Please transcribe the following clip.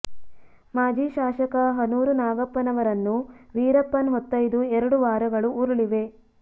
ಮಾಜಿ ಶಾಸಕ ಹನೂರು ನಾಗಪ್ಪನವರನ್ನು ವೀರಪ್ಪನ್ ಹೊತ್ತೊಯ್ದು ಎರಡು ವಾರಗಳು ಉರುಳಿವೆ